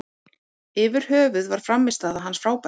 Yfir höfuð var frammistaða hans frábær.